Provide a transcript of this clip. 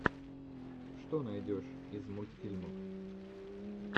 что найдешь из мультфильмов